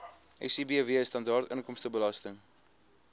sibw standaard inkomstebelasting